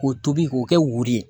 K'o tobi k'o kɛ woro ye